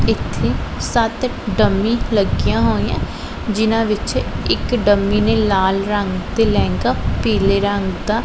ਇੱਥੇ ਸੱਤ ਡੰਮੀ ਲੱਗੀਆਂ ਹੋਈਐਂ ਜਿਹਨਾਂ ਵਿੱਚ ਇਕ ਡੰਮੀ ਨੇ ਲਾਲ ਰੰਗ ਤੇ ਲਹਿੰਗਾ ਪੀਲੇ ਰੰਗ ਦਾ--